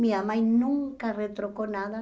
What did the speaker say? Minha mãe nunca retrocou nada.